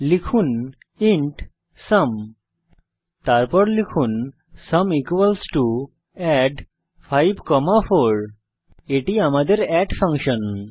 লিখুন int sum তারপর লিখুন সুম add54 এখানে এটি আমাদের এড ফাংশন